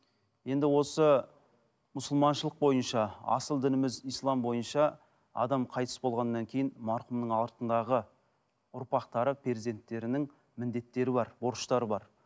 енді осы мұсылманшылық бойынша асыл дініміз ислам бойынша адам қайтыс болғаннан кейін марқұмның артындағы ұрпақтары перзенттерінің міндеттері бар борыштары бар